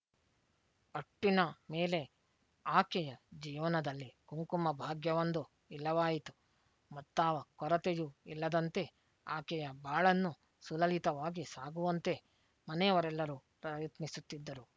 ಒಟ್ಟಿನ ಮೇಲೆ ಆಕೆಯ ಜೀವನದಲ್ಲಿ ಕುಂಕುಮಭಾಗ್ಯವೊಂದು ಇಲ್ಲವಾಯಿತು ಮತ್ತಾವ ಕೊರತೆಯೂ ಇಲ್ಲದಂತೆ ಆಕೆಯ ಬಾಳನ್ನು ಸುಲಲಿತವಾಗಿ ಸಾಗುವಂತೆ ಮನೆಯವರೆಲ್ಲರೂ ಪ್ರಯತ್ನಿಸುತ್ತಿದ್ದರು